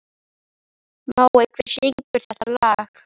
Mói, hver syngur þetta lag?